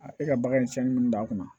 e ka bagan cɛnni minnu don a kunna